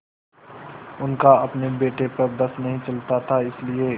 उनका अपने बेटे पर बस नहीं चलता था इसीलिए